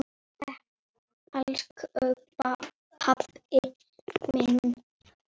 Elsku pabbi minn er dáinn.